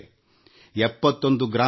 71 ಗ್ರಾಮಗಳು ಈಗ ಬಯಲು ಶೌಚ ಮುಕ್ತವಾಗಿವೆ